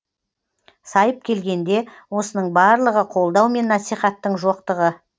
сайып келгенде осының барлығы қолдау мен насихаттың жоқтығы